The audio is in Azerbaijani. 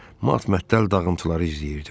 Matmətəl dağıntıları izləyirdim.